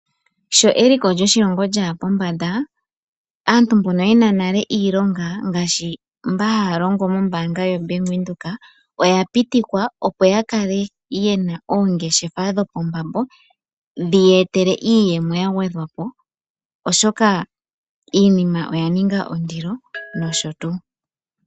Sho eliko lyoshilongo lya ya pombanda aantu mboka ye na nale iilonga ngaashi mba haya longo moombaanga yoBank Windhoek oya pitikwa, opo ya kale ye na oongeshefa dho pombambo dhi ya etele iiyemo ya gwedhwa po, oshoka iinima oya ninga ondilo nosho tu.